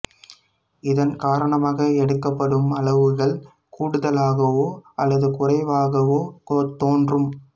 இதன் காரணமாக எடுக்கப்படும் அளவுகள் கூடுதலாகவோ அல்லது குறைவாகவோ தோன்றும்